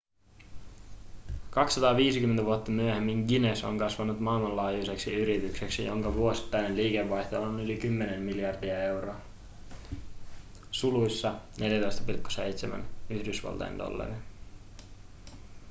250 vuotta myöhemmin guinness on kasvanut maailmanlaajuiseksi yritykseksi jonka vuosittainen liikevaihto on yli 10 miljardia euroa 14,7 yhdysvaltain dollaria